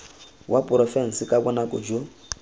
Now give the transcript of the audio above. wa porofense ka bonako jo